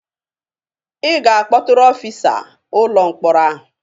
Ị ga-akpọtụrụ ọfịsa ụlọ mkpọrọ ahụ!